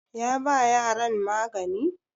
ya ba yaran magani?